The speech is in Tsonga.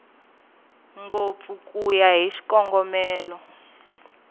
ngopfu ku ya hi xikongomelo